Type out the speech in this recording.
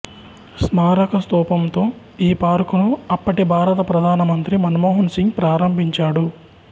స్మారక స్తూపంతో ఈ పార్కును అప్పటి భారత ప్రధానమంత్రి మన్మోహన్ సింగ్ ప్రారంభించాడు